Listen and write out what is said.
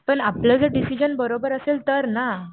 पण आपलं जर डिसिजन बरोबर असेल तर ना.